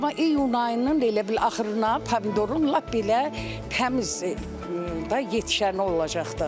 Amma iyun ayının elə bil axırına pomidorun lap belə təmiz də yetişəni olacaq da.